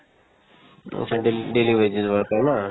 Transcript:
উম, সেই daily daily wages worker না